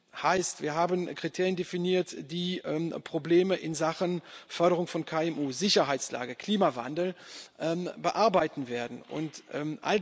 Das heißt, wir haben Kriterien definiert, mit denen Probleme in Sachen Förderung von KMU, Sicherheitslage, Klimawandel bearbeitet werden können.